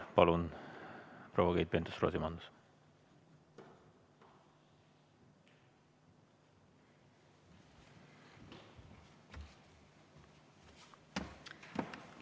Palun, proua Keit Pentus-Rosimannus!